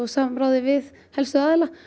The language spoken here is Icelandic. samráði við helstu aðila